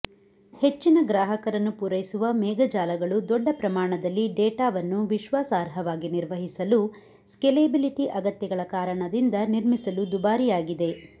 ಹೆಚ್ಚಿನ ಗ್ರಾಹಕರನ್ನು ಪೂರೈಸುವ ಮೇಘ ಜಾಲಗಳು ದೊಡ್ಡ ಪ್ರಮಾಣದಲ್ಲಿ ಡೇಟಾವನ್ನು ವಿಶ್ವಾಸಾರ್ಹವಾಗಿ ನಿರ್ವಹಿಸಲು ಸ್ಕೇಲೆಬಿಲಿಟಿ ಅಗತ್ಯತೆಗಳ ಕಾರಣದಿಂದ ನಿರ್ಮಿಸಲು ದುಬಾರಿಯಾಗಿದೆ